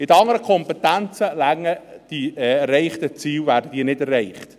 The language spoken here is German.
Bei den anderen Kompetenzen werden diese Ziele nicht erreicht.